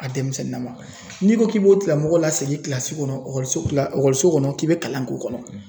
A denmisɛnnin na ma. N'i ko k'i b'o tigilamɔgɔ la segin kɔnɔ so kɔnɔ k'i be kalan k'o kɔnɔ.